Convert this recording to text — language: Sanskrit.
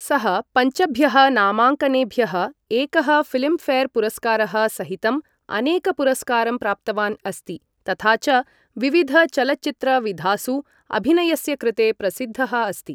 सः पञ्चभ्यः नामाङ्कनेभ्यः एकः फिल्मफेयरपुरस्कारः सहितं अनेकपुरस्कारं प्राप्तवान् अस्ति तथा च विविधचलच्चित्रविधासु अभिनयस्य कृते प्रसिद्धः अस्ति ।